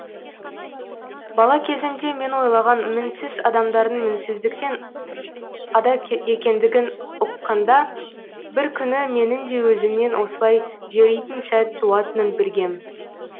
бала кезімде мен ойлаған мінсіз адамдардың мінсіздіктен ада екендігін ұққанда бір күні менің де өзімнен осылай жөритін сәт туатынын білгем